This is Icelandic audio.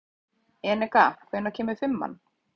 Eneka, hvenær kemur fimman?